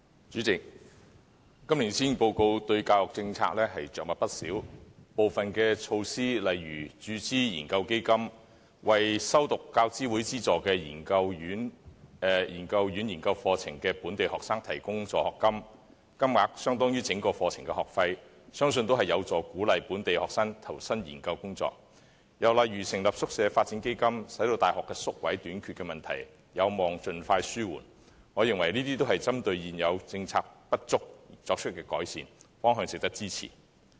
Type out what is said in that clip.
主席，今年施政報告對教育政策着墨不少，部分措施例如注資研究基金，為修讀大學教育資助委員會資助的研究院研究課程的本地學生提供助學金，金額相當於整個課程的學費，相信有助鼓勵本地學生投身研究工作；又例如成立宿舍發展基金，使大學宿位短缺的問題有望盡快紓緩，我認為這些均針對現有政策的不足而作出改善，方向值得支持。